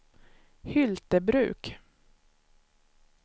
Hyltebruk